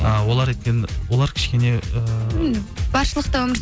і олар өйткені олар кішкене ы енді баршылықта өмір